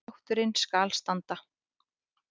Þátturinn skal standa